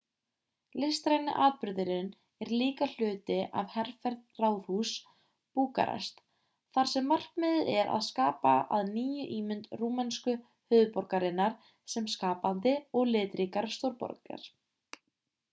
listræni atburðurinn er líka hluti af herferð ráðhúss búkarest þar sem markmiðið er að skapa að nýju ímynd rúmensku höfuðborgarinnar sem skapandi og litríkar stórborgar